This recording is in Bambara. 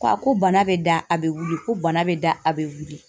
Ko ko bana bɛ da a bɛ wili ko bana bɛ da a bɛ wili